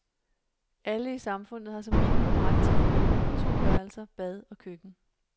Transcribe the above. Alle i samfundet har som minimum ret til en bolig på to værelser, bad og køkken.